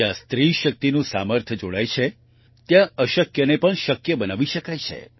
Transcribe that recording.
જ્યાં સ્ત્રી શક્તિનું સામર્થ્ય જોડાય છે ત્યાં અશક્યને પણ શક્ય બનાવી શકાય છે